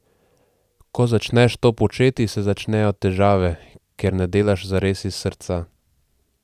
Ko začneš to početi, se začnejo težave, ker ne delaš zares iz srca.